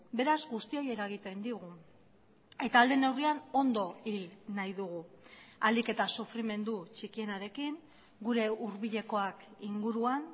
beraz guztioi eragiten digu eta ahal den neurrian ondo hil nahi dugu ahalik eta sufrimendu txikienarekin gure hurbilekoak inguruan